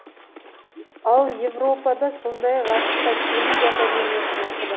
ол европада сондай ақ ақш та теңіз академиясын оқыды